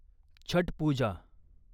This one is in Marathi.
छट पूजा